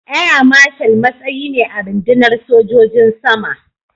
Air Marshal matsayi ne a rundunar sojojin sama.